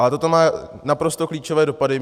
Ale toto má naprosto klíčové dopady.